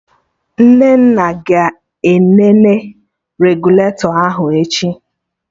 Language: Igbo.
Nnenna ga-enene regụlatọ ahụ echi